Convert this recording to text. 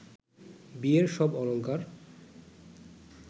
বিয়ের সব অলংকার